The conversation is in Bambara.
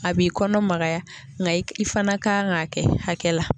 A b'i kɔnɔ magaya nka i fana kan k'a kɛ hakɛ la.